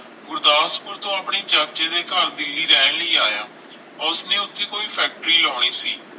ਗੁਰਦਸਪੂਰ ਤੋਂ ਆਪਣੇ ਚਾਚੇ ਦੇ ਘਰ ਦਿੱਲੀ ਰਹਿਣ ਲਈ ਆਇਆ ਉਸ ਨੇ ਉਸਦੀ ਕੋਈ ਫੈਕਟਰੀ ਲਾਉਣੀ ਸੀ